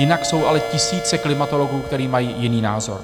Jinak jsou ale tisíce klimatologů, kteří mají jiný názor.